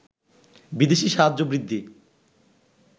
বিদেশি সাহায্য বৃদ্ধি